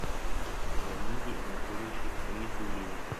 леониде анатольевиче хамидуллине